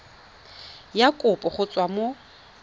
ya kopo go tswa mo